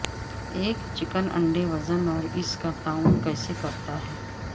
ایک چکن انڈے وزن اور اس کا تعین کیسے کرتا ہے